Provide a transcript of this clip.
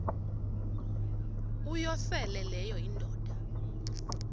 uyosele leyo indoda